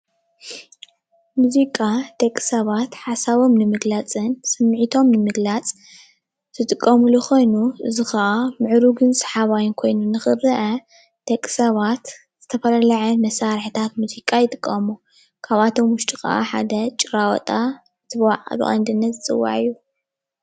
ሙዚቃ ደቂ ሰባት ሓሳቦም ንምግላፅን ስሚዕቶም ንምግላፅ ዝጥቀምሉ ኮይኑ እዚ ከዓ ምዕሩግን ሰሓባይን ኮይኑ ንክረአ ደቂ ሰባት ዝተፈላለዩ ዓይነት መሳርሕታት ሙዚቃ ይጥቀሙ። ካብኣቶም ውሽጢ ከዓ ሓደ ጭራዋጣ ብቀንድነት ዝፅዋዕ እዩ።